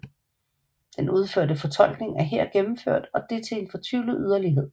Den udførte fortolkning er her gennemført og det til en fortvivlet yderlighed